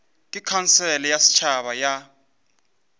ke khansele ya setšhaba ya